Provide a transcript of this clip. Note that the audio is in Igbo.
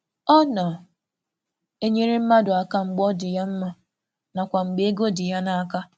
Ọ na-enye ego naanị ma ọ bụrụ na ọ kwụ n’ahịrị na ihe o kweere na ọnọdụ um ego um ya. um